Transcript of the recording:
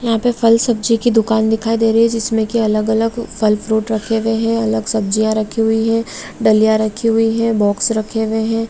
यहाँ पे फल-सब्जी की दुकान दिखाई दे रही है जिसमें की अलग-अलग फल-फ्रूट रखे हुए हैं अलग सब्जियां रखी हुई है डलिया रखी हुई है बॉक्स रखे हुए हैं।